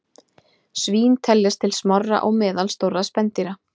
Svín teljast til smárra og meðalstórra spendýra.